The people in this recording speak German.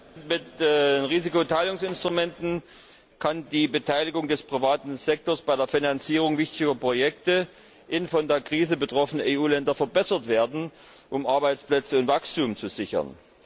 Herr Präsident! Mit Risikoteilungsinstrumenten kann die Beteiligung des privaten Sektors an der Finanzierung wichtiger Projekte in von der Krise betroffenen EU Ländern verbessert werden, um Arbeitsplätze und Wachstum zu sichern.